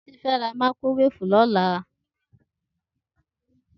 Titi fè rá màíkrówéfú lòlá